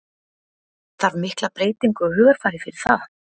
Þarf mikla breytingu á hugarfari fyrir það?